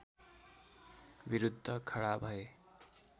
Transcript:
विरुद्ध खडा भए